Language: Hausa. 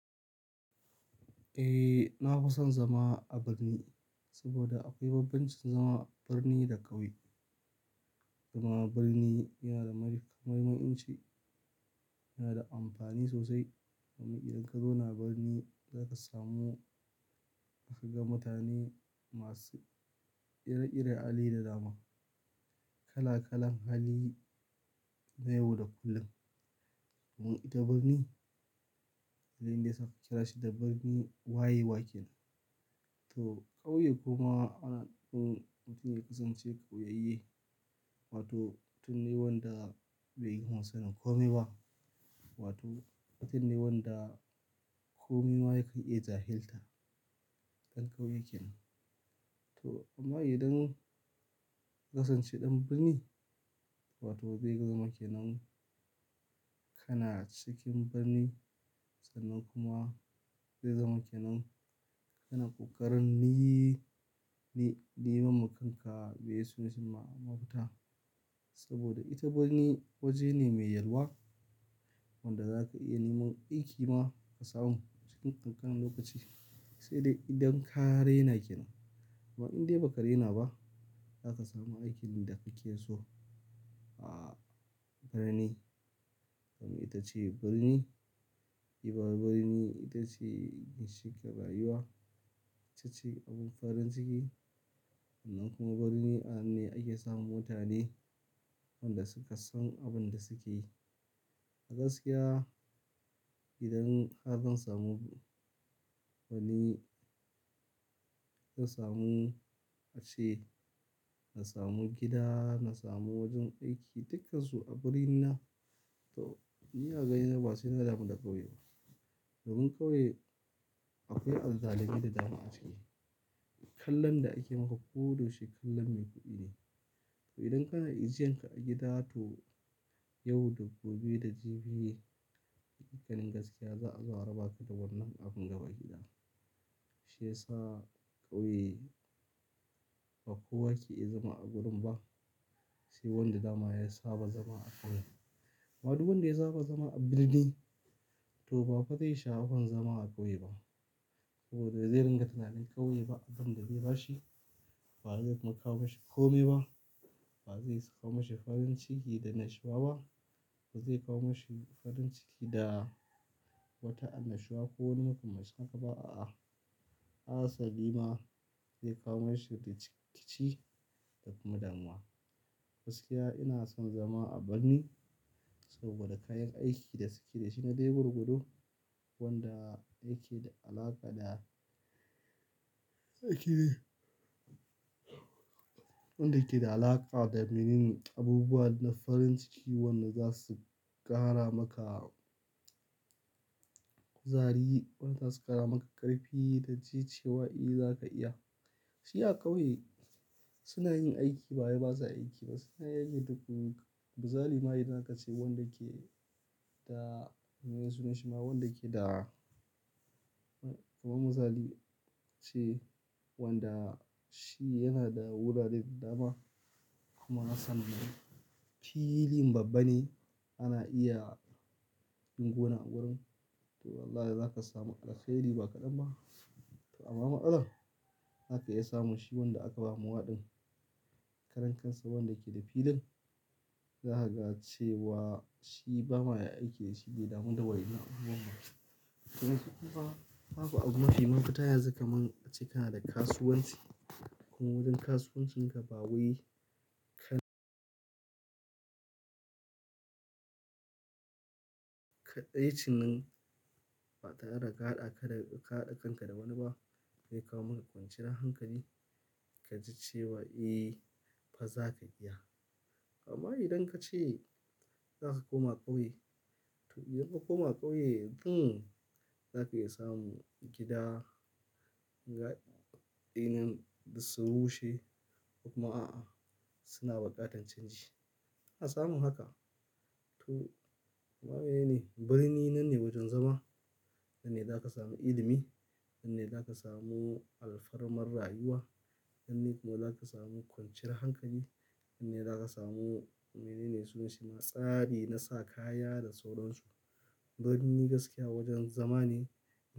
Eh, na fi son zama a birni saboda akwai bambancin zama birni da ƙauye. Kuma birni yana da mahimmanci, yana da amfani sosai. Domin idan ka zo na birni za ka samu ka ga mutane masu ire-iren hali da dama, kala-kalan hali na yau da kullum. Domin ita birni, halin da ya saka kira shi da birni wayewa kenan. To ƙauye kuma ana so mutum ya kasance ƙauyaye wato mutum ne wanda bai gama sanin komai ba, wato mutun ne wanda komai ma ya kan iya jahilta ɗan ƙauye kenan. To amma idan ka san ce ɗan birni, wato bai gama ke nan kana cikin birni sannan kuma zai zama ke nan kana ƙoƙarin niy-ni-eiman ma kan ka biya su mes ɗin mafita. Saboda ita birni waje ne mai yalwa wanda za ka iya neman ɗinki ma ka samu cikin ƙanƙanan lokaci. Sai dai idan ka raina kenan. Amma in dai ba ka raina ba, za ka samu aikin da ka ke so. A birni, domin ita ce birni, ribar birni ita ce ginshiƙin rayuwa, ita ce abin farin ciki. Sannan kuma birni a nan ne ake samun mutane wanda suka san abin da suke yi. A gaskiya, idan har zan samu wani, na samu ace, na samu gida, na samu wajen aiki, dukkan su a birni na. To, ni a gani na ba sai na damu da ƙauye ba. Domin ƙauye akwai adaloli da dama a ciki. Kallon da ake maka ko da yaushe kallon mai kuɗi ne. To idan kana ijiyan ka a gida to yau da gobe da jibi, cikin gaskiya za a zo a raba ka da wannan abun gaba ki ɗaya. Shiyasa ƙauye ba kowa ke iya zama a gurin ba. Sai wanda dama ya saba zama a ƙauye. Amma duk wanda ya saba zama a birni, to ba fa zai sha abun zama a ƙauye ba. Saboda zai ringa tunanin ƙauye ba abin da zai bashi, ba zai kuma kawo mashi komai ba, ba zai kawo mashi farin ciki da nashiwa ba, ba zai kawo mashi farin ciki da wata annashuwa ko wani makamancin haka ba, a'a. Asa liman zai kawo mashi rikici da kuma damuwa. Gaskiya ina son zama a birni saboda kayan aikin da suke da shi na dai gurgudu, wanda yake da alaƙa da, yake da, wanda yake da alaƙa da me ne ne abubuwa na farin ciki wanda za su ƙara maka kuzari, wanda za su ƙara maka ƙarfi da ji cewa eh za ka iya. Shi a ƙauye suna yin aiki ba wai ba sa aiki ba. Suna aiki tuƙuru kuzari ma idan aka ce da miye sunan shima wanda ke da kuma kuzari ce wanda shi yana da wurare da dama kuma ya san filin babba ne ana iya yin gona a gurin. To wallahi za ka samu allkhairi ba kaɗan ba. Amma matsalan za ka iya samun shi wanda aka ba mawa ɗin karan kansa wanda yake da filin. Za ka ga cewa shi ba ma ya aiki da shi baibdamu da wa innan abubuwan ba. Yanzu kuma ba bu abu mafi mafita yanzu kaman ace kana da kasuwanci kuma wajen kasuwancin ka ba wai ka kaɗaici nan ba tare da ka da haɗa kanka da wani ba zai kawo maka kwanciyar hankali ka ji cewa eh fa za ka iya. Amma idan ka ce za ka koma ƙauye, to idan ka koma ƙauye, hmm, za ka iya samun gida, ga eh nan dussun rushe ko kuma a'a suna bukatar canji. A samu haka. To, koma me ne ne birni nan ne wajen zama, nan ne za ka samu ilimi, nan ne za ka samu alfarmar rayuwa, nan ne kuma za ka samu kwanciyar hankali, nan ne za ka samu, menene sunan shi ma, tsari na sa kaya da sauransu. Birni gaskiya wajen zama ne.